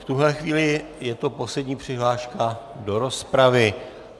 V tuhle chvíli je to poslední přihláška do rozpravy.